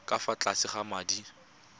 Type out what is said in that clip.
ka fa tlase ga madi